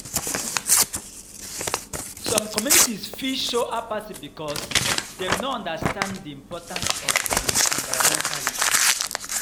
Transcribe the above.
Some communities fit show apathy beacuse dem no understand di importance of di environmental issues.